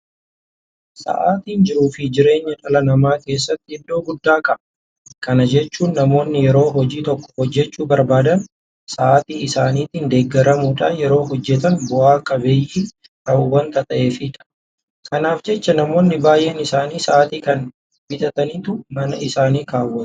Sa'aatiin jiruufi jireenya dhala namaa keessatti iddoo guddaa qaba. Kana jechuun namoonni yeroo hojii tokko hojjechuu barbaadan sa'aatii isaaniitiin deeggaramuudhaan yoo hojjetan bu'a qabeeyyii ta'u waanta ta'eefidha. Kanaaf jecha namoonni baay'een isaanii sa'aatii kana bitataniitu mana isaanii keewwatu.